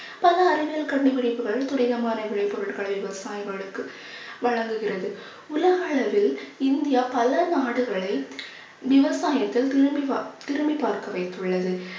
பல அறிவியல் கண்டுபிடிப்புகள், துரிதமான விளைபொருட்களை விவசாயிகளுக்கு வழங்குகிறது. உலக அளவில் இந்தியா பல நாடுகளில் விவசாயத்தில் திரும்பி பார்க்~ திரும்பி பார்க்க வைத்துள்ளது